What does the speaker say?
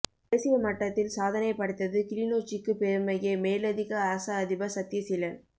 தேசிய மட்டத்தில் சாதனை படைத்தது கிளிநொச்சிக்கு பெருமையே மேலதிக அரச அதிபா் சத்தியசீலன்